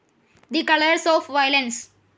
the colours of violence